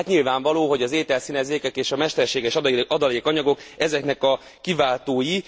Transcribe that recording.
Hát nyilvánvaló, hogy az ételszínezékek és a mesterséges adalékanyagok ezeknek a kiváltói.